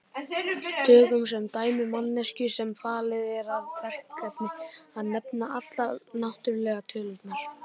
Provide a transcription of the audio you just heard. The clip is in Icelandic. Tökum sem dæmi manneskju sem falið er það verkefni að nefna allar náttúrulegu tölurnar.